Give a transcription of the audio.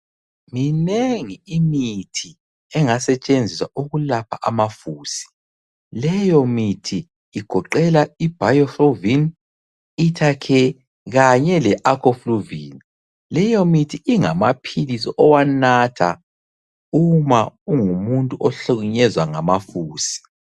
Minengi imithi engasetshenziswa ukulapha amafusi. Leyo mithi igoqela iBiofulvin, Itacare kanye leAGofulvin. Leyo mithi ingamaphilisi owanatha uma ungumuntu ohlukunyezwa ngamafusi.